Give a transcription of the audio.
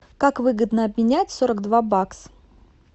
как выгодно обменять сорок два бакса